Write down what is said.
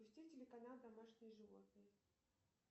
запусти телеканал домашние животные